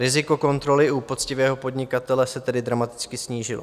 Riziko kontroly u poctivého podnikatele se tedy dramaticky snížilo.